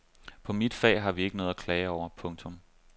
På mit fag har vi ikke noget at klage over. punktum